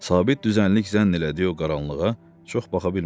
Sabit düzənlik zənn elədiyi o qaranlığa çox baxa bilmədi.